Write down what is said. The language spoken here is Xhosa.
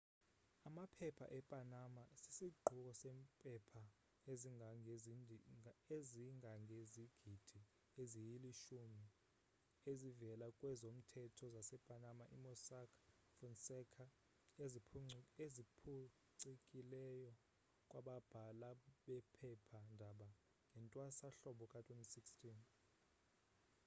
amaphepha e-panama sisiquko sempepha ezingangezigidi eziyilishumi ezivela kwezomthetho zase-panama i-mossack fonseca eziphuncikileyo kwababhala bephepha ndaba ngewntwasa hlobo ka-2016